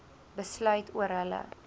besluit oor hulle